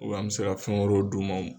an mɛ se ka fɛn wɛrɛw d'u ma.